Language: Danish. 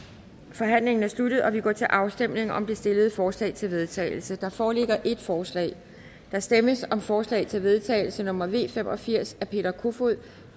forhandlingen er sluttet og vi går til afstemning om det stillede forslag til vedtagelse der foreligger et forslag der stemmes om forslag til vedtagelse nummer v fem og firs af peter kofod